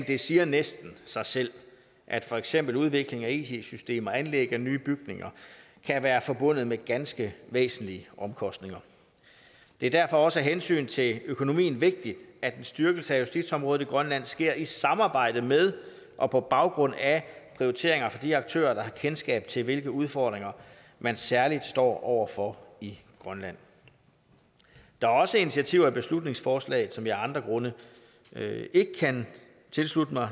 det siger næsten sig selv at for eksempel udvikling af it systemer og anlæg af nye bygninger kan være forbundet med ganske væsentlige omkostninger det er derfor også af hensyn til økonomien vigtigt at en styrkelse af justitsområdet i grønland sker i samarbejde med og på baggrund af prioriteringer fra de aktører der har kendskab til hvilke udfordringer man særlig står over for i grønland der er også initiativer i beslutningsforslaget som jeg af andre grunde ikke kan tilslutte mig